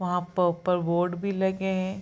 वहां पर ऊपर बोर्ड भी लगे हैं।